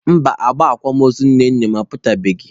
Mba, agba akwamozu nne nna m aputabeghị.